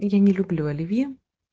и я не люблю оливье